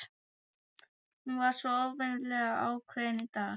Hún var svo óvenjulega ákveðin í dag.